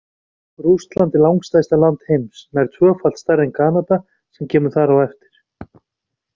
Rússland er langstærsta land heims, nær tvöfalt stærra en Kanada sem kemur þar á eftir.